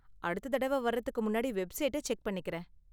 அடுத்த தடவ வர்றதுக்கு முன்னாடி வெப்சைட்டை செக் பண்ணிக்குறேன்.